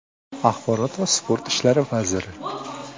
axborot va sport ishlari vaziri;.